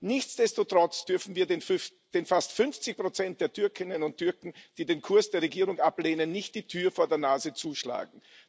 Nichtsdestotrotz dürfen wir den fast 50 der Türkinnen und Türken, die den Kurs der Regierung ablehnen, nicht die Tür vor der Nase zuschlagen.